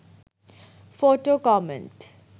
photo comment